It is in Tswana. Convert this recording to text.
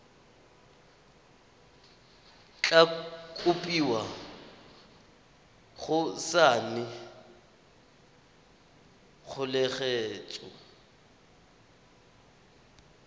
tla kopiwa go saena kgoeletso